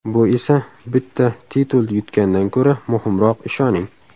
Bu esa bitta titul yutgandan ko‘ra muhimroq, ishoning.